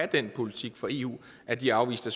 den politik for eu at de afviste